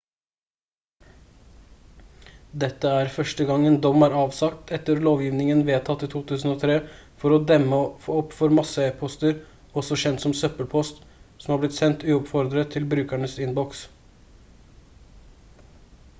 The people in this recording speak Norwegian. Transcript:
dette er første gang en dom er avsagt etter lovgivningen vedtatt i 2003 for å demme opp for masse-e-poster også kjent som søppelpost som har blitt sendt uoppfordret til brukernes innboks